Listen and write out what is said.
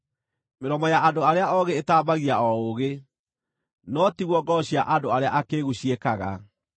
Mĩromo ya andũ arĩa oogĩ ĩtambagia o ũũgĩ, no tiguo ngoro cia andũ arĩa akĩĩgu ciĩkaga.